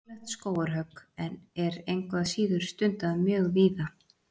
Ólöglegt skógarhögg er engu að síður stundað mjög víða.